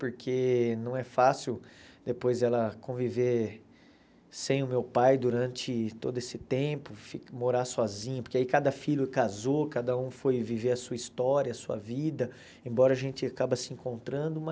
porque não é fácil depois ela conviver sem o meu pai durante todo esse tempo, fi morar sozinha, porque aí cada filho casou, cada um foi viver a sua história, a sua vida, embora a gente acaba se encontrando, mas...